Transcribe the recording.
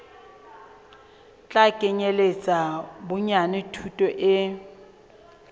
tla kenyeletsa bonyane thuto e